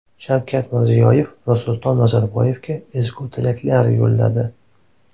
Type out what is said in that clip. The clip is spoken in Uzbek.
Shavkat Mirziyoyev Nursulton Nazarboyevga ezgu tilaklar yo‘lladi.